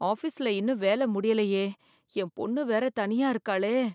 ஆபீஸ்ல இன்னும் வேலை முடியலையே என் பொண்ணு வேற தனியா இருக்காளே!